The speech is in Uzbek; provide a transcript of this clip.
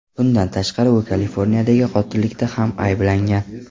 Bundan tashqari u Kaliforniyadagi qotillikda ham ayblangan.